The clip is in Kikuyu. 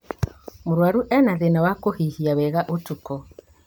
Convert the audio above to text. Mũrwaru ena thĩna wa kũhihia wega ũtukũ